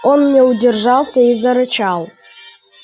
он не удержался и зарычал